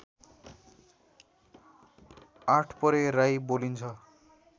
आठपरे राई बोलिन्छ